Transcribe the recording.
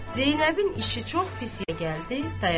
Zeynəbin işi çox pis gəldi, dayandı.